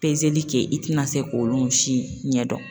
kɛ i tɛna se k'olu si ɲɛdɔn.